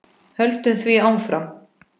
Höldum því áfram.